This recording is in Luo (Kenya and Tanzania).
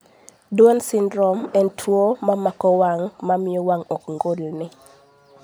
Duan syndrome en tuo mamako wang' mamiyo wang' ok ngolni